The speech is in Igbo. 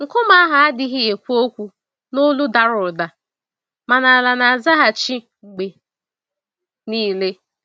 Nkume ahụ adịghị ekwu okwu n'olu dara ụda, mana ala na-azaghachi mgbe niile.